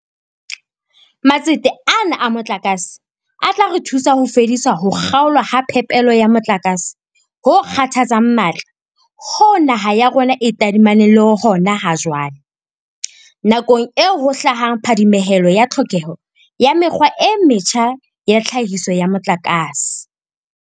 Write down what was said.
Matsete ana a motlakase a tla re thusa ho fedisa ho kga olwa ha phepelo ya motlakase ho kgathatsang matla hoo naha ya rona e tadimaneng le hona ha jwale, nakong eo ho hlahang phadimehelo ya tlhokeho ya mekgwa e metjha ya tlhahiso ya motlakase.